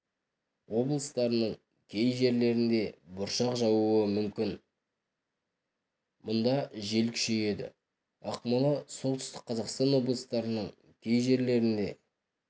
облыстарының кей жерлерінде бұршақ жаууы мүмкін мұнда жел күшейеді ақмола солтүстік қазақстан облыстарының кей жерлерінде